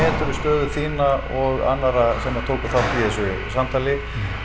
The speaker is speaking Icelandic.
stöðu þína og annarra sem að tóku þátt í þessu samtali